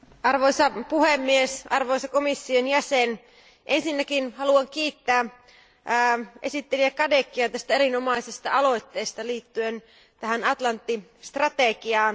Arvoisa puhemies, arvoisa komission jäsen, ensinnäkin haluan kiittää esittelijä Cadecia tästä erinomaisesta aloitteesta Atlantti strategiasta.